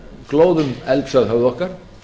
glóðum elds að höfði okkar